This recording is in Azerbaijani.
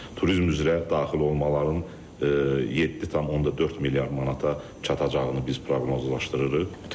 Turizm üzrə daxil olmaların 7,4 milyard manata çatacağını biz proqnozlaşdırırıq.